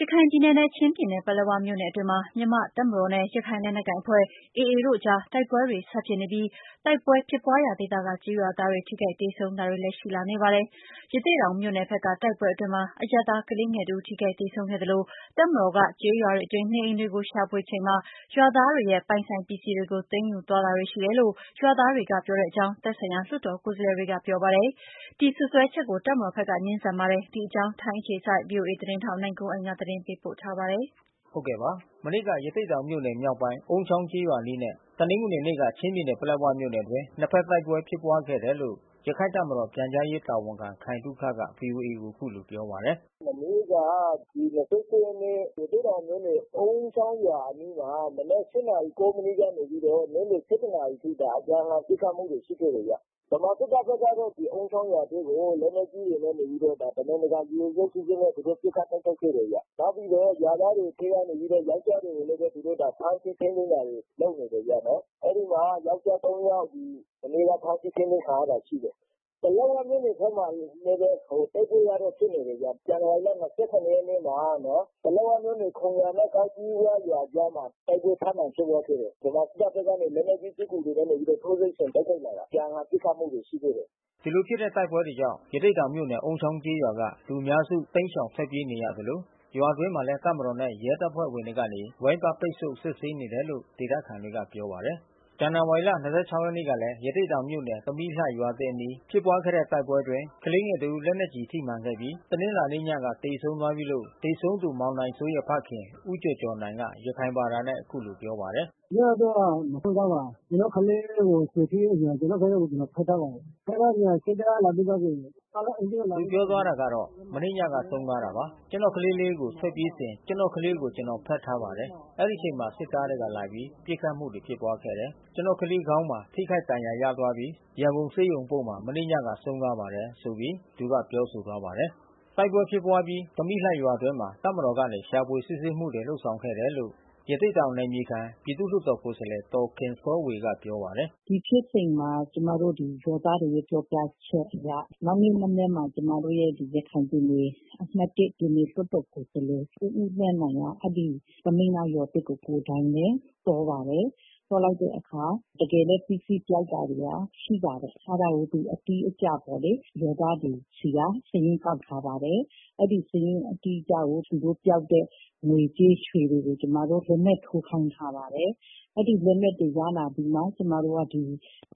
ရခိုင်ပြည်နယ်နဲ့ချင်းပြည်နယ်ပလက်ဝမြို့နယ်အတွင်းမှာ မြန်မာ့တပ်မတော်နဲ့ ရခိုင်လက်နက်ကိုင်အဖွဲ့AA တို့ကြား တိုက်ပွဲတွေ ဆက်ဖြစ်နေပြီး တိုက်ပွဲဖြစ်ပွါးရာဒေသက ကျေးရွာသားတွေ ထိခိုက်သေဆုံးတာတွေလည်း ရှိလာနေပါတယ်။ ရသေ့တောင်မြို့နယ်ဘက်က တိုက်ပွဲအတွင်းမှာ အရပ်သားကလေးငယ်တဦး ထိခိုက်သေဆုံးခဲ့သလို တပ်မတော်က ကျေးရွာတွင်း နေအိမ်တွေကို ရှာဖွေချိန်အတွင်း ရွာသားတွေရဲ့ ပိုင်ဆိုင်ပစ္စည်းတွေကို သိမ်းယူသွားတာတွေရှိတယ်လို့ ရွာသားတွေက ပြောတဲ့အကြောင်း သက်ဆိုင်ရာ လွှတ်တော်ကိုယ်စားလှယ်တွေကပြောပါတယ်။ ဒီစွပ်စွဲချက်ကို တပ်မတော်ဘက်က ငြင်းဆန်ပါတယ်။ ဒီအကြောင်း ဗွီအိုအေ ထိုင်းအခြေစိုက်သတင်းထောက် နိုင်ကွန်းအိန်က သတင်းပေးပို့ထားပါတယ်။ တနင်္လာနေ့က ရသေ့တောင်မြို့နယ် မြောက်ပိုင်း အုန်းချောင်းကျေးရွာအနီးနဲ့ တနင်္ဂနွေနေ့က ချင်းပြည်နယ်ပလက်ဝမြို့နယ်အတွင်း နှစ်ဖက်တိုက်ပွဲဖြစ်ပွါးခဲ့တယ်လို့ရခိုင့်တပ်မတော်ပြန်ကြား ရေးတာဝန်ခံ ခိုင်သုခက ဗွီအိုအေကိုအခုလိုပြောပါတယ်။ “မနေ့က ဒီ(၂၈)ရက်နေ့ ရသေ့တောင်မြို့နယ် အုန်းချောင်းရွာအနီးမှာ မနက်(၈)နာရီ(၉)မိနစ်ကနေပြီးတော့ နေ့ လယ် (၁၁)နာရီအထိက အပြန်အလှန်ပစ်ခတ်မှုတွေရှိခဲ့တယ်ဗျ။ ဗမာစစ်တပ်ဖက်ကတော့အုန်းချောင်းရွာထဲကို လက် နက်ကြီးတွေနဲ့နေပြီးတော့ တမင်တကာရည်ရွယ်ချက်ရှိရှိနဲ့သူတို့ပစ်ခတ်တိုက်ခိုက်ခဲ့တယ်ဗျ။ နောက်ပြီးတော့ ရွာ သားတွေထဲကနေပြီးတော့ ယောကျ်ားတွေကိုလဲ သူတို့ဖမ်းဆီးထိန်းသိမ်းတာတွေလုပ်နေတယ်ဗျ။ အဲဒီမှာ ယောကျ်ား (၃)ယောက် မနေ့ကဖမ်းဆီးထိန်းသိမ်းခံရတာရှိတယ်။ ပလက်ဝမြို့နယ်ထဲမှာလဲဘဲ တိုက်ပွဲဖြစ်နေတာရှိတယ်။ ဇန္နဝါ ရီလ(၂၇)ရက်နေ့မှာ ပလက်ဝမြို့နယ် ခုံရွာနဲ့ကောက်ကြီးဝရွာအကြားမှာ တိုက်ပွဲထပ်မံဖြစ်ပွါးခဲ့တယ်။ ဗမာစစ်တပ် ဖက်ကနေ လက်နက်ကြီးပစ်ကူတွေနဲ့ထိုးစစ်ဆင်တိုက်ခိုက်လာတာ။ အပြန်လှန်ပစ်ခတ်မှုတွေရှိခဲ့တယ်။” ဒီလိုဖြစ်တဲ့တိုက်ပွဲကြောင့် ရသေ့တောင်မြို့နယ်အုန်းချောင်းကျေးရွာက လူအများစု တိမ်းရှောင်ထွက်ပြေးနေရသလို ရွာအတွင်းမှာလဲ တပ်မတော်နဲ့ရဲတပ်ဖွဲ့ဝင်တွေကနေ ဝိုင်းပတ်ပိတ်ဆို့ စစ်ဆေးနေတယ်လို့ ဒေသခံတွေက ပြောပါ တယ်။ ဇန်နဝါရီ ၂၆ ရက်နေ့ကလဲ ရသေ့တောင်မြို့နယ်၊ သမီးလှ ရွာသစ်အနီး ဖြစ်ပွားခဲ့တဲ့တိုက်ပွဲအတွင်း ကလေးငယ် တဦး လက်နက်ကျည်ထိမှန်ခဲ့ပြီး တနင်္လာနေ့ညကသေဆုံးသွားပြီးလို့ သေဆုံးသူမောင်နိုင်စိုးရဲ့ဖခင် ဦးကျော်ကျော်နိုင်က ရခိုင်ဘာသာနဲ့အခုလိုပြောပါတယ်။ “မနေ့ညကဆုံးသွားတာပါ။ ကျွန်တော်ကလေးလေးကို ထွက်ပြေးစဉ်ကျွန်တော်ကလေးကိုကျွန်တော်ဖက်ထား ပါတယ်။ အဲဒီအချိန်မှာစစ်သားကလာပြီး ပစ်ခတ်မှုတွေဖြစ်ပွါးခဲ့ပါတယ်။ ကျွန်တော်ကလေးခေါင်းမှာ ထိခိုက်ဒဏ်ရာ ရသွားပြီး ရန်ကုန်ဆေးရုံအပို့မှာ မနေ့ညကဆုံးသွားပါတယ်။” တိုက်ပွဲဖြစ်ပွါးအပြီး သမီးလှရွာအတွင်းမှာ တပ်မတော်ကနေ ရှာဖွေစစ်ဆေးမှုတွေလုပ်ခဲ့တယ်လို့ ရသေ့တောင် နယ်မြေခံ ပြည်သူ့လွှတ်တော်ကိုယ်စားလှယ် ဒေါ်ခင်စောဝေကပြောပါတယ်။ “ဒီဖြစ်စဉ်မှာ ကျွန်မတို့ဒီရွာသားတွေရဲ့ပြောပြချက်အရ နောက်နေ့မနက်မှာကျွန်မတို့ရဲ့ရခိုင်ပြည်နယ် အမှတ်(၁) ပြည်နယ်လွှတ်တော်ကိုယ်စားလှယ် ဦးဦးသန်းနိုင်က အဲဒီသမီးလှရွာဘက်ကို ကိုယ်တိုင်ဘဲသွားပါတယ်။ သွားလိုက် တဲ့အခါ တကယ်ဘဲပစ္စည်းပျောက်တာတွေရှိပါတယ်။ အဲတာကိုသူအတိအကျပေါ့လေ။ ရွာသားတွေဆီကစာရင်း ကောက်ထားပါတယ်။ အဲဒီစာရင်းအတိအကျကိုသူတို့ ပျောက်တဲ့ ရွှေတွေငွေကြေးတွေကို ကျွန်မတို့လက်မှတ်ထိုး ခိုင်းထားပါတယ်။ အဲဒီလက်မှတ်တွေရလာပြီးမှ ကျွန်မတို့ဒီ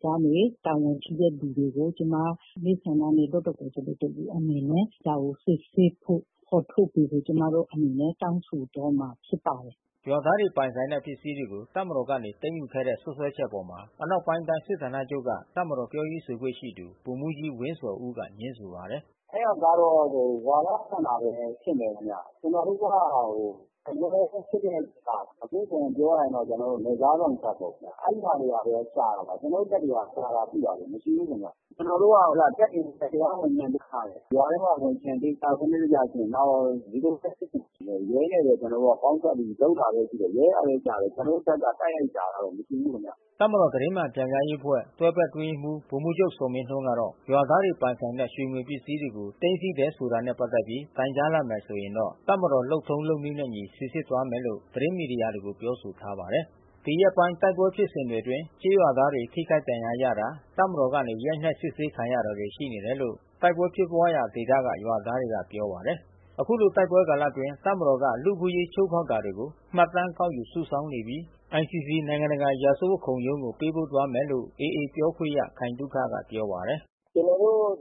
ကနေ တာဝန်ရှိတဲ့သူတွေကိုကျွန်မ မဲဆန္ဒနယ် လွှတ်တော် ကိုယ်စားလှယ်တဦးအနေနဲ့ ဒါကိုစစ်ဆေးဖို့ဖေါ်ထုတ်စေဖို့ကျွန်မတို့အနေနဲ့ တောင်းဆိုသွားမှာဖြစ်ပါတယ်။” ရွာသားတွေပိုင်ဆိုင်တဲ့ ပစ္စည်းတွေကို တပ်မတော်ကနေသိမ်းယူခဲ့တယ်ဆိုတဲ့ စွပ်စွဲချက်အပေါ် အနောက်ပိုင်းတိုင်းစစ်ဌာနချုပ်က တပ်မတော်ပြောရေးဆိုခွင့်ရှိသူ ဗိုလ်မှူးကြီးဝင်းဇော်ဦးက ငြင်းဆိုပါတယ်။ “အဲတာကတော့ဝါဒဖြန့်တာဘဲဖြစ်မယ်ခင်ဗျ။ အမြဲစစ်တဲ့အချိန်မှာ အပြည့်အစုံပြောရရင် ကျွန်တော်တို့ နယ်ခြားစောင့် တပ်ပေါ့ဗျာ။ အဲဒီဟာတွေပါဘဲရှာတာပါ။ ကျွန်တော်တို့တပ်တွေကရှာတာပြုတာတွေမရှိဘူးခင်ဗျ။ ရွာထဲမှာဝင်ချင် သေချာစံနစ်တကျစစ်ရင် ရဲနဲ့ဘဲကျွန်တော်ပေါင်းစပ်ပြီးလုပ်တာရှိတယ်။ ရဲကဘဲရှာတယ်။ ကျွန်တော်တို့တပ်က တိုက်ရိုက်ရှာတာတော့မရှိဘူး။” တပ်မတော်သတင်းမှန်ပြန်ကြားရေးအဖွဲ့ တွဲဘက် အတွင်းရေးမှူး ဗိုလ်မှူးချုပ်ဇော်မင်းထွန်းကတော့ ရွာသားတွေ ပိုင်ဆိုင်တဲ့ရွှေငွေပစ္စည်းတွေကို သိမ်းဆည်းတယ်ဆိုတာနဲ့ပတ်သက်ပြီး တိုင်ကြားလာမယ်ဆိုရင်တော့ တပ်မတော်လုပ်ထုံး လုပ်နည်း နဲ့အညီ စီစစ်သွားမယ်လို့ သတင်းမီဒီယာတွေကိုပြောဆိုထားပါတယ်။ ဒီရက်ပိုင်း တိုက်ပွဲဖြစ်စဉ်တွေအတွင်း ကျေးရွာသားတွေထိခိုက်ဒဏ်ရာရတာ၊ တပ်မတော်ဘက်ကနေ ရိုက်နှက် စစ်ဆေးခံရတာ တွေရှိတယ်လို့ တိုက်ပွဲဖြစ်ပွါးရာဒေသကရွာသားတွေကပြောပါတယ်။ အခုလိုတိုက်ပွဲကာလအတွင်း တပ်မတော်က လူ့အခွင့်အရေးချိုးဖောက်တာတွေကို မှတ်တမ်း ကောက်ယူစုဆောင်းနေပြီး ICC နိုင်ငံတာရာဇဝတ်ခုံးရုံးကို ပေးပို့သွားမယ်လို့ AA ပြောခွင့်ရ ခိုင်သုခက ပြောပါတယ်။ “ကျွန်တော်တို့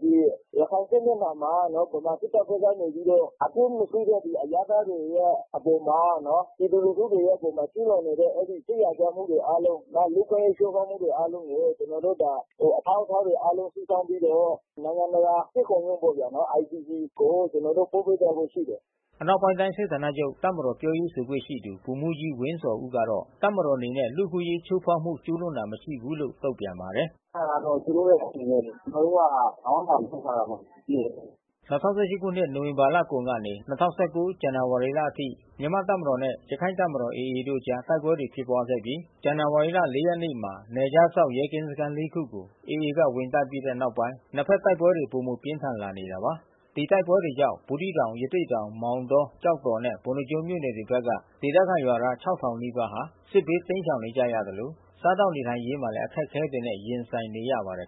ရခိုင်စစ်မျက်နှာမှာ ဗမာစစ်တပ်ဖက်ကနေပြီးတော့ အပစ်မရှိတဲ့ဒီအရပ်သားတွေရဲ့အပေါ်မှာ ပြည်သူ လူထုတွေရဲ့အပေါ်မှာ ကျူးလွန်နေတဲ့စစ်ရာဇဝတ်မှုတွေအားလုံး နောက်လူ့အခွင့်အရေးချိုးဖေါက်မှုတွေအားလုံးကို ကျွန်တော်တို့အထောက်အထားတွေစုဆောင်းထားပြီးတော့ နိုင်ငံတကာစစ်ခုံရုံးပေါ့ဗျာနော။ ICCကိုကျွန်တော်တို့ ပို့ပေးသွားဖို့ရှိတယ်။ အနောက်ပိုင်းတိုင်းစစ်ဌာနချုပ်က တပ်မတော်ပြောရေးဆိုခွင့်ရှိသူ ဗိုလ်မှူးကြီးဝင်းဇော်ဦးကတော့ တပ်မတော်အနေနဲ့ လူ့အခွင့်အရေးချိုးဖေါက်မှု ကျူးလွန်တာမရှိဘူးလို့ တုန့်ပြန်ပါတယ်။ “အဲတာကတော့သူတို့ရဲ့အစီစဉ်ပဲလေ။ ကျွန်တော်တို့က ဘာမှချိုးဖေါက်ခဲ့တာမရှိခဲ့ဘူး။” ၂၀၁၈ ခုနှစ် နိုဝင်ဘာလကုန်ကနေ ၂၀၁၉ ဇန္နဝါရီလအထိ မြန်မာ့တပ်မတော်နဲ့ရခိုင့်တပ်မတော် AA တို့ကြား တိုက်ပွဲတွေ ဖြစ်ပွားခဲ့ပြီး ဇန္နဝါရီလ ၄ ရက်နေ့မှာ နယ်ခြားစောင့် ရဲကင်းစခမ်း ၄ ခုကို AA က ဝင်တိုက်ပြီးတဲ့နောက်ပိုင်း နှစ်ဖက် တိုက်ပွဲတွေ ပိုမိုပြင်းထန်လာနေတာပါ။ ဒီတိုက်ပွဲတွေကြောင့် ဘူးသီးတောင်၊ ရသေ့တောင်၊ မောင်တော၊ ကျောက်တော်နဲ့ ပုဏ္ဏားကျွန်းမြို့နယ်တွေဘက်က ဒေသခံရွာသား ၆၀၀၀ နီးပါး စစ်ဘေးတိမ်းရှောင်နေကြရသလို စားသောက်နေထိုင်ရေးမှာလဲ အခက်ခဲတွေနဲ့ ရင်ဆိုင်နေရပါတယ်